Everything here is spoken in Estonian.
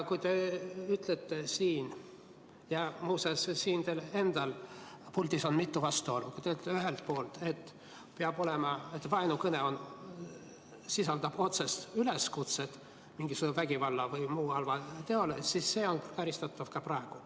Kui te ütlete – ja muuseas, teil endal siin puldis oli mitu vastuolu – ühelt poolt, et peab olema nii, et vaenukõne sisaldab otsest üleskutset mingisugusele vägivallale või muule halvale teole, siis see on karistatav ka praegu.